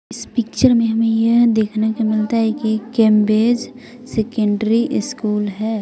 इस पिक्चर में हमें यह देखने को मिलता है कि कैम्बेज सेकेंडरी स्कूल है।